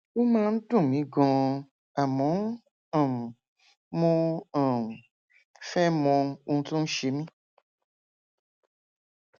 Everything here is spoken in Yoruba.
ó máa ń dùn mí ganan àmọ um mo um fẹ mọ ohun tó ń ṣe mí